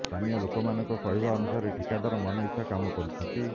ସ୍ଥାନୀୟ ଲୋକମାନଙ୍କ କହିବା ଅନୁସାରେ ଠିକାଦର ମନଇଚ୍ଛା କାମ କରୁଛନ୍ତି